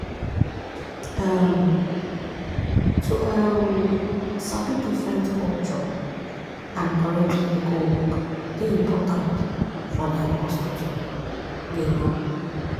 um to um sabi different culture and correct medical work dey important for dem hospital. um